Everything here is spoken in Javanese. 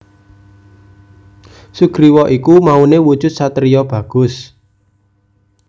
Sugriwa iku maune wujud satriya bagus